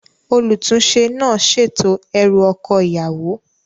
Olùtúnsẹ náà sètò erù oko ìyàwó